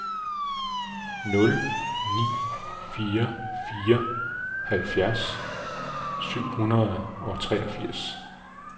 nul ni fire fire halvfjerds syv hundrede og treogfirs